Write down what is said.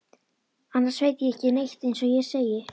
Annars veit ég ekki neitt eins og ég segi.